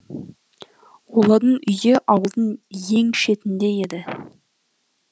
олардың үйі ауылдың ең шетінде еді